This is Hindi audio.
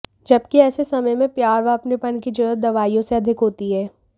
जबकि ऐसे समय में प्यार व अपनेपन की जरूरत दवाइयों से अधिक होती है